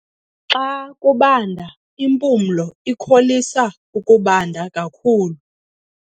Xa kubanda impumlo ikholisa ukubanda kakhulu.